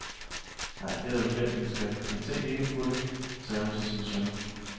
Nej, det har du glemt lille skat, men tænk ikke på det, sagde hun til sin søn.